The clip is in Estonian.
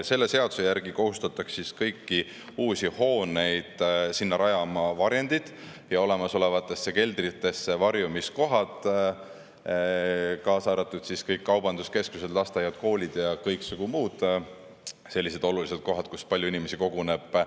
Selle seaduse järgi kohustataks kõigisse uutesse hoonetesse rajama varjendid ja olemasolevatesse keldritesse varjumiskohad, kaasa arvatud kõik kaubanduskeskused, lasteaiad, koolid ja kõiksugu muud sellised olulised kohad, kus palju inimesi koguneb.